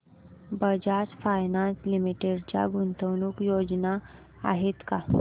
Bajaj finance limited च्या गुंतवणूक योजना आहेत का